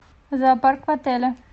зоопарк в отеле